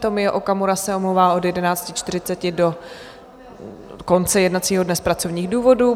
Tomio Okamura se omlouvá od 11.40 do konce jednacího dne z pracovních důvodů.